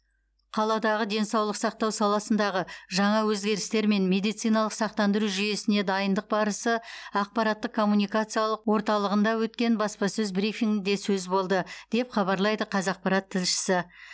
қаладағы денсаулық сақтау саласындағы жаңа өзгерістер мен медициналық сақтандыру жүйесіне дайындық барысы ақпараттық коммуникациялық орталығында өткен баспасөз брифингінде сөз болды деп хабарлайды қазақпарат тілшісі